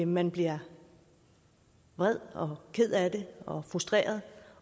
man bliver vred ked af det og frustreret